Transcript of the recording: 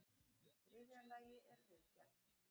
Í þriðja lagi er viðgerð.